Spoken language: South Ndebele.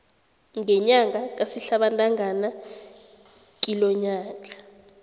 ngenyanga kasihlabantangana kilonyaka